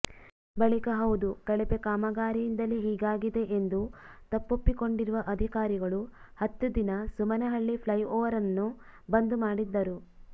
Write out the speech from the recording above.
ಬಳಿಕ ಹೌದು ಕಳಪೆ ಕಾಮಗಾರಿಯಿಂದಲೇ ಹೀಗಾಗಿದೆ ಎಂದು ತಪ್ಪೊಪ್ಪಿಕೊಂಡಿರುವ ಅಧಿಕಾರಿಗಳು ಹತ್ತು ದಿನ ಸುಮನಹಳ್ಳಿ ಫ್ಲೈಓವರ್ನ್ನು ಬಂದ್ ಮಾಡಿದ್ದರು